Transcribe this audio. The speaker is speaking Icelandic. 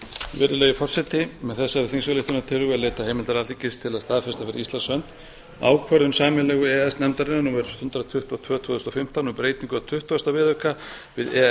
virðulegi forseti með þessari þingsályktunartillögu er leitað heimildar alþingis til að staðfesta fyrir íslands hönd ákvörðun sameiginlegu e e s nefndarinnar númer hundrað tuttugu og tvö tvö þúsund og fimmtán um breytingu á tuttugasta viðauka við e e s